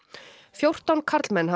fjórtán karlmenn